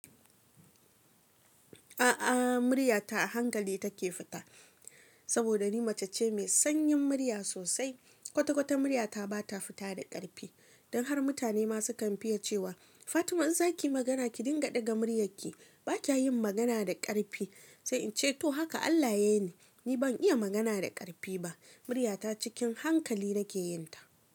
A'a, murya ta a hankali take fita. Saboda ni mace ce mai sanyin murya sosai. Kwata-kwata murya ta ba ta fita da ƙarfi. Don har mutane ma su kan fiye cewa Fatima in za ki yi magana ki dinga ɗaga muryarki, ba ki yin magana da ƙarfi. Sai in ce to haka Allah ya yi ni, ni ban iya magana da ƙarfi ba. Murya ta cikin hankali nake yin ta.